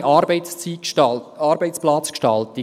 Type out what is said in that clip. moderne Arbeitsplatzgestaltung.